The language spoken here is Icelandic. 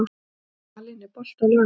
Malín, er bolti á laugardaginn?